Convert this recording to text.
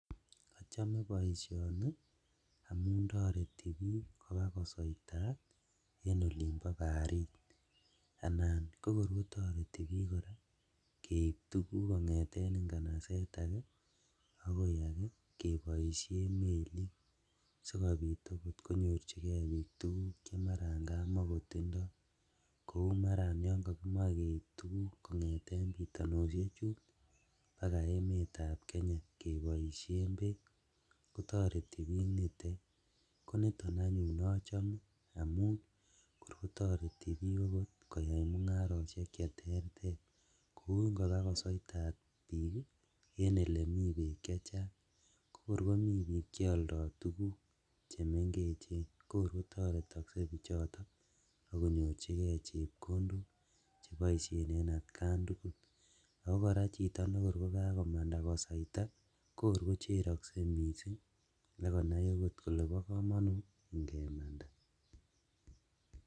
Ochome boisioni amun toreti bik kobaa kosoitat en olimbo barit anan kokor kotoreti bik keib tuguk kongeten ingabaset ake akoi ake keboisien melit sikobit okot konyor bik tuguk chemaran kamakotindo, kou maran yon kokimoe keib tuguk kongeten bitonoshechun bakaa emetab Kenya keboishen beek kotoreti bik nitet koniton anyun ochome amun kor kotorti bik okot koyai mungaroshek cheterter, kou ingobaa kosoitat bik ii en elemi beek chechang kokor komi bik cheoldo tuguk chemengechen kokor kotoretokse bichoton ak konyorjigee chepkondok cheboisien en atkan tugul, ako koraa chito nekor kokakomanda kosoita kokor kocherokse missing' ak konai okot kole bokomonut ingemanda.